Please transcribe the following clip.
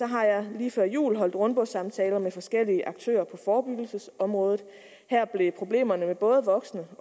har jeg lige før jul holdt rundbordssamtaler med forskellige aktører på forebyggelsesområdet her blev problemerne med både voksne